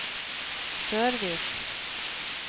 Sørvik